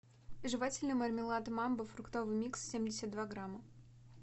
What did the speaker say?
жевательный мармелад мамба фруктовый микс семьдесят два грамма